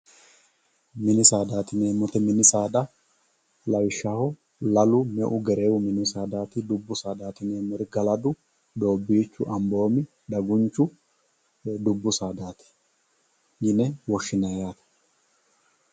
mini saada yineemmoti mini saada lawishshaho lalu meu gereewu mini saadaati dubbu sadaati yineemmori galadu doobbiichu amboomi dagunchu dubbu sadaati yine woshshinanni